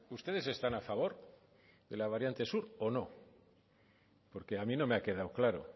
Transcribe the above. ustedes están a favor de la variante sur o no porque a mí no me ha quedado claro